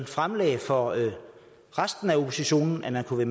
fremlagde for resten af oppositionen og den kunne